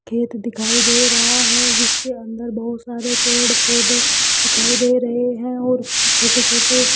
खेत दिखाई दे रहा है जिसके अंदर बहुत सारे पेड़ पौधे दिखाई दे रहे हैं और छोटे छोटे --